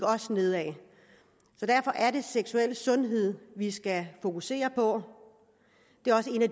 ned af derfor er det seksuel sundhed vi skal fokusere på det er også en af